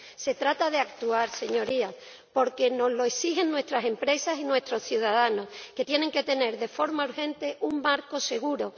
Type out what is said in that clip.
Se trata de actuar, Señorías, porque nos lo exigen nuestras empresas y nuestros ciudadanos, que tienen que tener de forma urgente un marco seguro.